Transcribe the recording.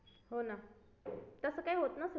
हो ना तसं काही होत नसेल तिकडे